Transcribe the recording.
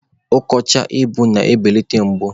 Ọkọchị egbu na-ebeleta mgbu.